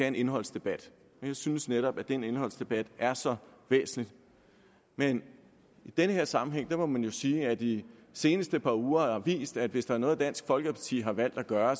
en indholdsdebat jeg synes netop at den indholdsdebat er så væsentlig men i den her sammenhæng må man jo sige at de seneste par uger har vist at hvis der er noget dansk folkeparti har valgt at gøre